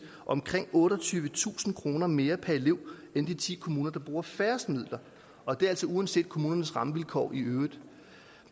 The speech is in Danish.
omkring otteogtyvetusind kroner mere per elev end de ti kommuner der bruger færrest midler og det er altså uanset kommunernes rammevilkår i øvrigt